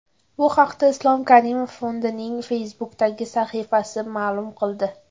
Bu haqda Islom Karimov Fondining Facebook’dagi sahifasi ma’lum qildi.